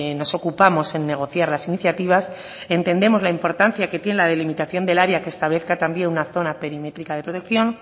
nos ocupamos en negociar las iniciativas entendemos la importancia que tiene la delimitación del área que establezca también una zona perimétrica de protección